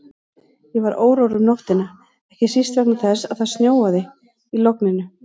Ég var órór um nóttina, ekki síst vegna þess að það snjóaði í logninu.